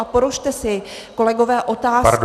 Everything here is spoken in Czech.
A položte si, kolegové, otázku -